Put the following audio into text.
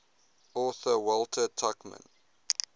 author walter tuchman